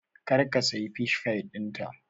Kar ka siya Fish pie ɗinta!